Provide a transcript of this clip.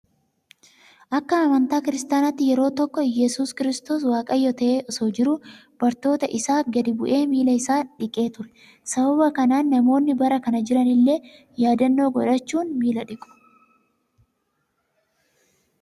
Akka amantaa kiristaanaatti yeroo tokko yesus kiristoos waaqayyo ta'ee osoo jiruu bartoota isaa gadi bu'ee miila isaan dhiqee ture. Sababa kanaan namoonni bara kana jiran illee yaadannoo godhachuud miila dhiqu